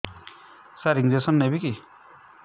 ସାର injection ନେବିକି